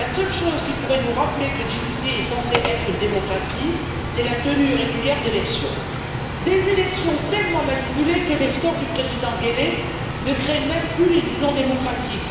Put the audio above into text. La seule chose qui pourrait nous rappeler que Djibouti est censé être une démocratie, c'est la tenue régulière d'élections des élections tellement manipulées que les scores du président Guelleh ne créent même plus l'illusion démocratique.